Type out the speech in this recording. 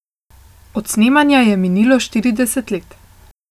Od snemanja je minilo štirideset let.